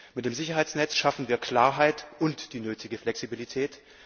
Mit dem Sicherheitsnetz schaffen wir Klarheit und die nötige Flexibilität.